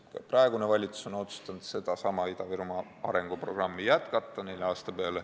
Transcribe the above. Ka praegune valitsus on otsustanud sedasama Ida-Virumaa arenguprogrammi jätkata neli aastat.